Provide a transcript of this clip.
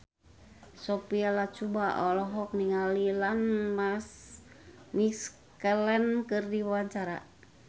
Sophia Latjuba olohok ningali Ian McKellen keur diwawancara